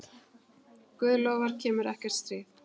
Guð lofar kemur ekkert stríð.